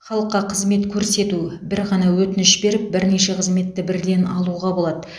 халыққа қызмет көрсету бір ғана өтініш беріп бірнеше қызметті бірден алуға болады